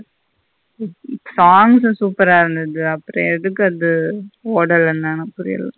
Songs super ஆ இருந்தது அப்பறம் எதுக்கு அது ஓடலன்னுத புரியல.